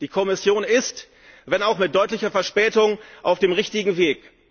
Die Kommission ist, wenn auch mit deutlicher Verspätung, auf dem richtigen Weg.